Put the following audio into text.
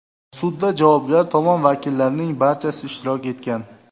Sudda javobgar tomon vakillarining barchasi ishtirok etgan.